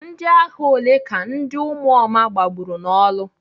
Ndịagha ole ka ndị ụmụoma gbagburu n'orlu?